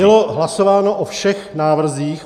Bylo hlasováno o všech návrzích.